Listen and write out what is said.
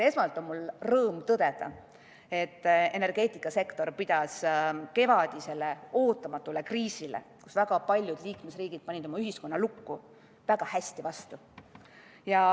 Esmalt on mul rõõm tõdeda, et energeetikasektor pidas kevadisele ootamatule kriisile, kus väga paljud liikmesriigid panid oma ühiskonna lukku, väga hästi vastu.